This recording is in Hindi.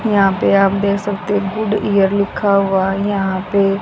यहां पे आप देख सकते हैं गुड ईयर लिखा हुआ यहां पे--